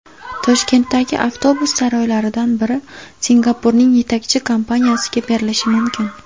Toshkentdagi avtobus saroylaridan biri Singapurning yetakchi kompaniyasiga berilishi mumkin.